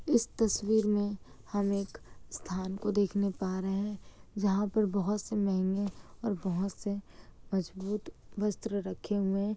इस तस्वीर में हम एक स्थान को देखने पा रहे है जहाँ पर बहुत से महंगे और बहुत से मजबूत वस्त्र रखे हुए है। --